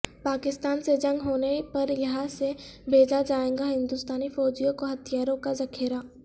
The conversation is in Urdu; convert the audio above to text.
پاکستان سے جنگ ہونے پریہاں سے بھیجا جائےگا ہندوستانی فوجیوں کوہتھیاروں کا ذخیرہ